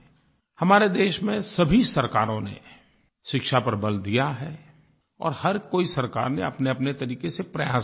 हमारे देश में सभी सरकारों ने शिक्षा पर बल दिया है और हर कोई सरकार ने अपनेअपने तरीक़े से प्रयास भी किया है